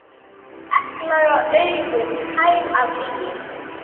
Egglaga augun tær af lygi.